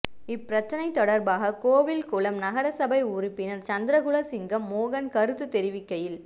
இப்பிரச்சனை தொடர்பாக கோவில்குளம் நகரசபை உறுப்பினர் சந்திரகுலசிங்கம் மோகன் கருத்து தெரிவிக்கையில்